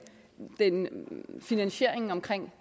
finansieringen af